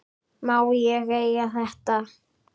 Má ég eiga þetta?